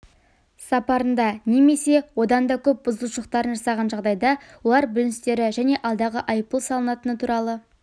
сапарында немесе одан да көп бұзушылықтарын жасаған жағдайда олар бүліністері және алдағы айыппұл салынатыны туралы